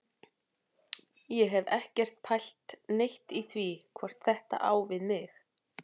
Ég hef ekkert pælt neitt í því hvort þetta á við mig.